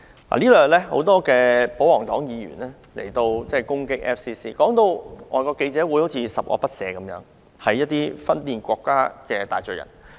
過去兩天，多位保皇黨議員攻擊外國記者會，將其說成十惡不赦、分裂國家的大罪人。